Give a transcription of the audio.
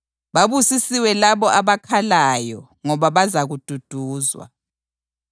Babusisiwe labo abakhalayo ngoba bazakududuzwa.